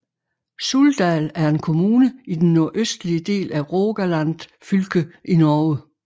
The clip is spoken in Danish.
Suldal er en kommune i den nordøstlige del af Rogaland fylke i Norge